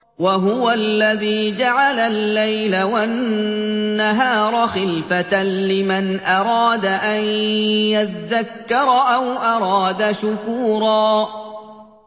وَهُوَ الَّذِي جَعَلَ اللَّيْلَ وَالنَّهَارَ خِلْفَةً لِّمَنْ أَرَادَ أَن يَذَّكَّرَ أَوْ أَرَادَ شُكُورًا